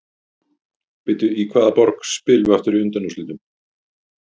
Bíddu, í hvaða borg spilum við aftur í undanúrslitunum?